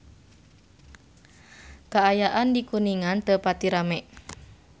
Kaayaan di Kuningan teu pati rame